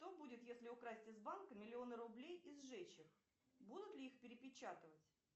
что будет если украсть из банка миллионы рублей и сжечь их будут ли их перепечатывать